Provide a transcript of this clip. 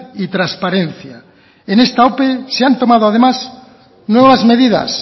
y transparencia en esta ope se han tomado además nuevas medidas